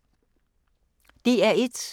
DR1